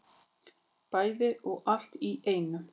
Bæði og allt í einu